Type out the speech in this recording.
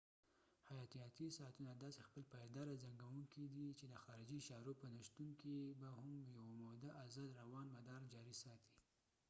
حیاتیاتي ساعتونه داسې خپل پایداره زنګوونکي دي چې د خارجي اشارو په نشتون کې به هم یوه موده ازاد روان مدار جاري ساتي